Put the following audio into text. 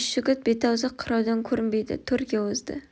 үш жігіт бет-аузы қыраудан көрінбейді төрге озды